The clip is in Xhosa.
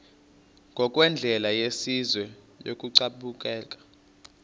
ngokwendlela yesizwe yokubeka